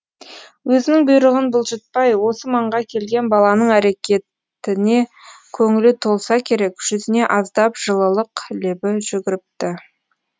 өзінің бұйрығын бұлжытпай осы маңға келген баланың әрекетіне көңілі толса керек жүзіне аздап жылылық лебі жүгіріпті